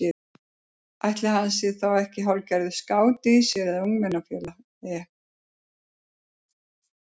Ætli hann sé þá ekki hálfgerður skáti í sér eða ungmennafélagi.